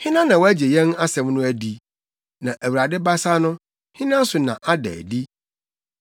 Hena na wagye yɛn asɛm no adi? na Awurade abasa no, hena so na ada adi?